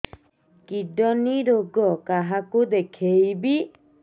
kidney ରୋଗ କାହାକୁ ଦେଖେଇବି